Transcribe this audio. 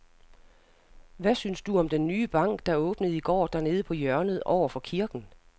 Hvad synes du om den nye bank, der åbnede i går dernede på hjørnet over for kirken?